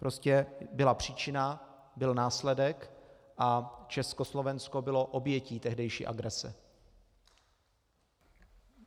Prostě byla příčina, byl následek a Československo bylo obětí tehdejší agrese.